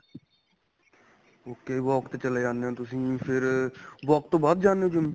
okay walk ਤੇ ਚਲੇ ਜਾਂਦੇ ਹੋ ਤੁਸੀਂ ਫ਼ੇਰ walk ਤੋ ਬਾਅਦ ਜਾਣੇ ਹੋ GYM